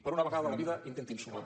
per una vegada a la vida intentin sumar